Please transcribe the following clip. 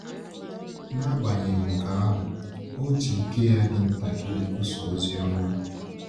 N’agbanyeghị nke ahụ, ọ ji ike ya dị ntakịrị kwusaa ozi ọma.